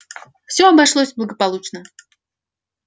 всё обошлось благополучно